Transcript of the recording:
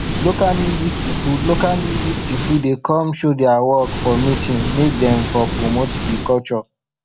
local music pipo local music pipo dey come show dia work for meeting make dem for promote di culture